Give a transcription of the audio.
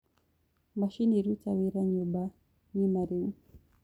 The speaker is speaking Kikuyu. machini rũta wĩra nyũmba ng'ima riu